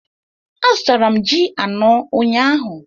Azụtara m ji anọ ụnyahụ